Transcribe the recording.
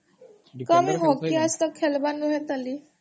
ତମେ ହକି ଆଜ୍ ତକ୍ ଖେଲବାନ କେନି